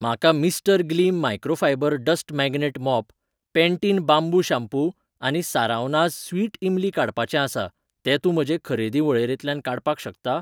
म्हाका Mr Gleam microfibre dust magnet mop, Pantene bamboo shampoo आनी Saravanas sweet imli काडपाचें आसा, तूं तें म्हजे खरेदी वळेरेंतल्यान काडपाक शकता?